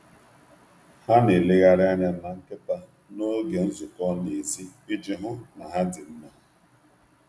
Ha na-elegharị anya na nkịta n’oge nzukọ n’èzí iji hụ na ha dị mma.